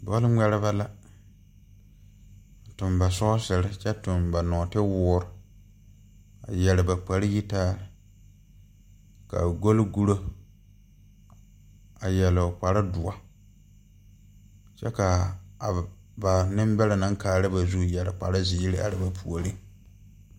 Bɔlŋmɛrebɛ la a tuɡi ba sɔɔsiri kyɛ tuɡi ba nɔɔtewoore a yɛr ba kparyitaa ka a ɡolɡuro a yɛr o kpardoɔ kyɛ ka a ba nembɛrɛ naŋ kaara ba zu a yɛr kparziiri are ba puori.